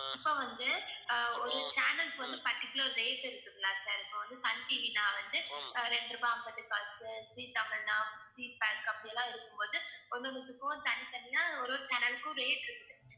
இப்ப வந்து அஹ் ஒரு channel க்கு வந்து particular rate இருக்குது இல்ல sir இப்ப சன் டிவினா வந்து ரெண்டு ரூபாய் ஐம்பது காசு ஜீ தமிழ்னா அப்படியெல்லாம் இருக்கும் போது ஒண்ணொண்ணுதுக்கும் தனித்தனியா ஒரு ஒரு channel க்கும் rate இருக்குது